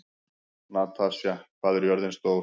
Natasja, hvað er jörðin stór?